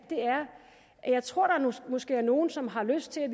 er at jeg tror at der måske er nogle som har lyst til at